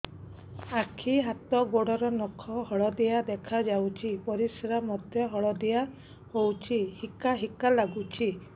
ଆଖି ହାତ ଗୋଡ଼ର ନଖ ହଳଦିଆ ଦେଖା ଯାଉଛି ପରିସ୍ରା ମଧ୍ୟ ହଳଦିଆ ହଉଛି ହିକା ହିକା ଲାଗୁଛି